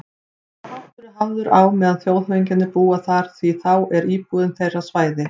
Sá háttur er hafður á meðan þjóðhöfðingjar búa þar, því þá er íbúðin þeirra svæði